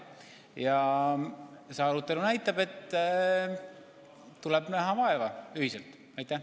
Ja see arutelu näitab, et tuleb ühiselt vaeva näha.